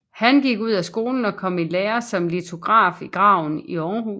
Han gik ud af skolen og kom i lære som litograf i Graven i Aarhus